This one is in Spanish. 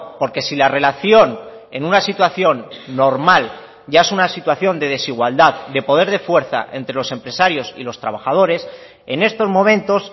porque si la relación en una situación normal ya es una situación de desigualdad de poder de fuerza entre los empresarios y los trabajadores en estos momentos